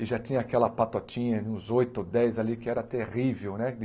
E já tinha aquela patotinha, uns oito ou dez ali, que era terrível, né?